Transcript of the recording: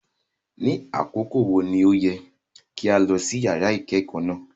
Ni akoko wo ni o yẹ ki a lọ si yara ikẹkọ náa?